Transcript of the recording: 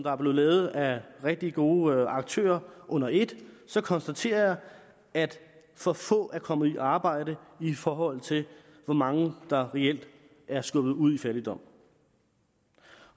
er blevet lavet af rigtig gode aktører under et så konstaterer jeg at for få er kommet i arbejde i forhold til hvor mange der reelt er skubbet ud i fattigdom